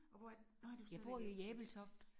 Og hvor er det nåh du er stadigvæk i Ebeltoft